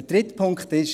Der dritte Punkt ist: